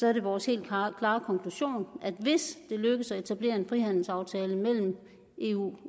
er det vores helt klare konklusion at hvis det lykkes at etablere en frihandelsaftale mellem eu